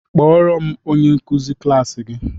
Kpọọrọ m onye nkuzi klaasị gi!